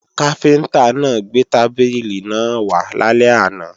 Káfíntá náà gbé tábìlì náà wá lálẹ́ àná